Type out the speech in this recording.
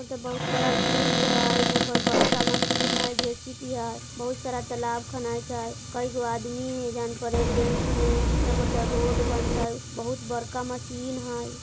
उधर बहुत बड़ा फील्ड हय यहां पर बड़का मशीन हय जे_सी_बी है बहुत सारा तालाब खूने छै कै गो आदमी है जान परे जेंट्स में यहां पर ते रोड बनते बहुत बड़का मशीन हय।